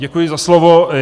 Děkuji za slovo.